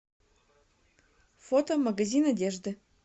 фото магазин одежды